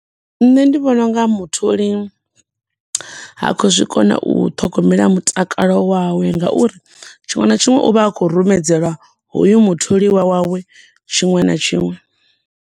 Nṋe ndi vhona unga mutholi ha khou zwi kona u ṱhogomela mutakalo wawe nga uri tshiṅwe na tshiṅwe uvha a khou rumedzela hoyo mutholiwa wawe, tshiṅwe na tshiṅwe.